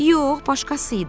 Yox, başqası idi.